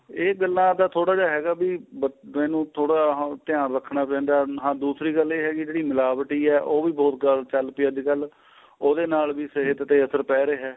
ਇਹ ਗੱਲਾ ਤਾਂ ਥੋੜਾ ਜਾ ਹੈਗਾ ਵੀ ਇੰਨੁ ਥੋੜਾ ਹਾਂ ਧਿਆਨ ਰੱਖਣਾ ਪੈਂਦਾ ਹਾਂ ਦੂਸਰੀ ਗੱਲ ਇਹ ਹੈ ਜੀ ਜਿਹੜੀ ਮਿਲਾਵਟੀ ਏ ਉਹ ਵੀ ਬਹੁਤ ਗਲਤ ਏ ਅੱਜਕਲ ਉਹਦੇ ਨਾਲ ਵੀ ਸਹਿਤ ਤੇ ਅਸਰ ਪਾਈ ਰਿਹਾ